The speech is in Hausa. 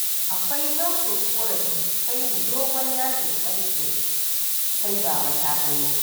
Akwai nau'in ƙorafi ta yin dogon yajin aikin sai baba-ta-gani.